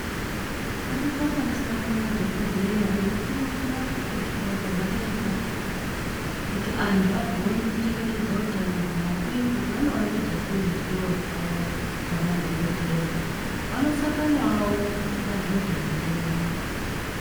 Paripo panosangane madhokodheya eikurukura kukosha kwazvakaita kuti antu agone kuchengetedza utano hwavo uye kuti vanovandudza sei ruzivo rwavo semadhokodheya vanosanganawo madhodha ngendombi .